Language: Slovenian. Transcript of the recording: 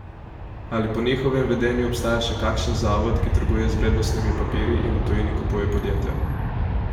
Ali po njihovem vedenju obstaja še kakšen zavod, ki trguje z vrednostnimi papirji in v tujini kupuje podjetja?